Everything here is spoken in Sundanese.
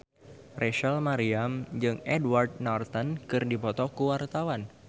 Rachel Maryam jeung Edward Norton keur dipoto ku wartawan